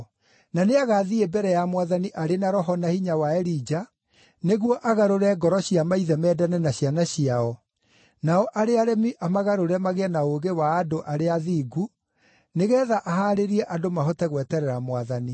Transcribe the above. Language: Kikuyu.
Na nĩagathiĩ mbere ya Mwathani arĩ na roho na hinya wa Elija, nĩguo agarũre ngoro cia maithe mendane na ciana ciao, nao arĩa aremi amagarũre magĩe na ũũgĩ wa andũ arĩa athingu, nĩgeetha ahaarĩrie andũ mahote gweterera Mwathani.”